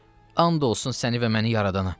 And olsun səni və məni yaradana.